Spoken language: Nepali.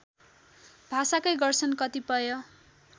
भाषाकै गर्छन् कतिपय